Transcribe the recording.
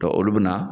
olu bɛ na